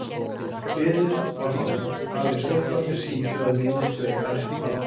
Hliðið var horfið, aðeins stólparnir sýndu að minnið sveik hann ekki.